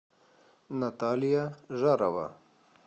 наталья жарова